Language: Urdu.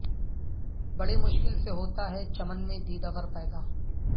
بڑی مشکل سے ہوتا ہے چمن میں دیدہ ور پیدا